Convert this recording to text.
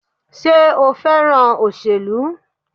Sé o fẹ́ràn òṣèlú?